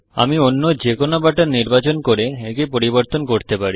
আমি অন্য যে কোন বাটন নির্বাচন করে একে পরিবর্তন করতে পারি